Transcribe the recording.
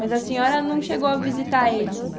Mas a senhora não chegou a visitar eles?